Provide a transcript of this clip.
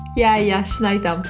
иә иә шын айтамын